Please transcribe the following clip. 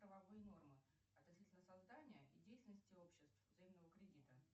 правовые нормы относительно создания и деятельности обществ взаимного кредита